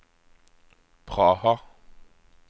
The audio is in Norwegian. Praha